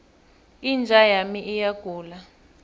inja yami iyagula